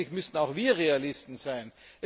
Aber letztendlich müssen auch wir Realisten sein.